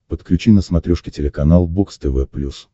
подключи на смотрешке телеканал бокс тв плюс